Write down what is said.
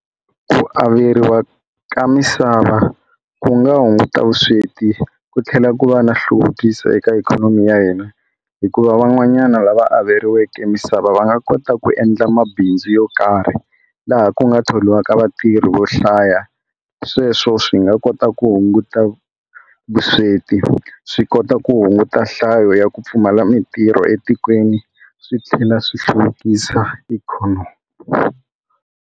Ku averiwa ka misava ku nga hunguta vusweti ku tlhela ku va na hluvukiso eka ikhonomi ya hina hikuva van'wanyana lava averiwaka misava va nga kota ku endla mabindzu yo karhi laha ku nga thoriwaka vatirhi vo hlaya sweswo swi nga kota ku hunguta vusweti swi kota ku hunguta hlayo ya ku pfumala mintirho etikweni swi tlhela swi hluvukisa ikhonomi.